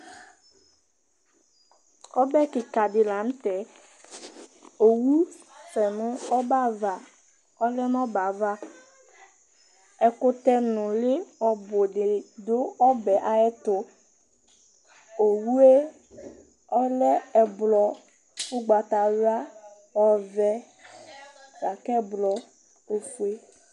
Ɔbɛ kika di lanʋtɛ owʋsɛnʋ ɔbɛ ava, ɔlɛnʋ ɔbɛ ava Ɛkʋtɛ nʋli ɔbʋdi didʋ ɔbɛ ayʋ ɛtʋ Owʋe ɔlɛ ɛblɔ, ʋgbatawla, ɔvɛ, lakʋ ɛblɔ, ofue